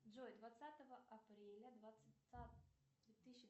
джой двадцатого апреля две тысячи